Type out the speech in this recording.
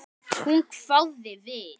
Hún hváði við.